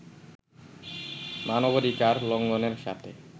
মানবাধিকার লঙ্ঘনের সাথে